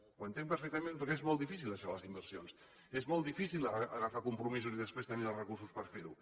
ho entenc perfectament perquè és molt difícil això de les inversions és molt difícil agafar compromisos i després tenir els recursos per fer los